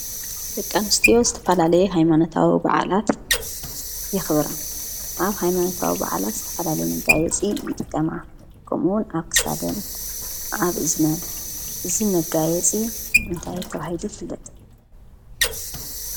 ደቂ ኣንስትዮ ዝተፈላለየ ሃይማኖታዊ በዓላት የክብራ። ኣብ ሃይማነታዊ በዓላት ዝተፈላለየ መጋየፂ ይጥቀማ ። ከምኡ እውን ኣብ ክሳደን ኣብ እዝነን እዚ መጋየፂ እንታይ ተባሂሉ ይፍለጥ?